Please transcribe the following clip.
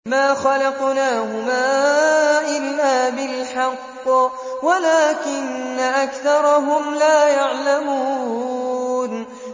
مَا خَلَقْنَاهُمَا إِلَّا بِالْحَقِّ وَلَٰكِنَّ أَكْثَرَهُمْ لَا يَعْلَمُونَ